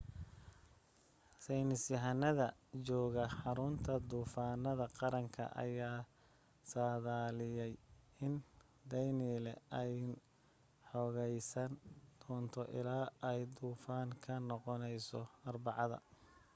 saynisyahanada jooga xarunta duufaamaha qaranka ayaa saadaadliyay in danielle ay xoogaysan doonto illaa ay duufaan ka noqonayso arbacada